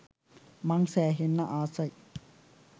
මං සෑහෙන්න ආසයි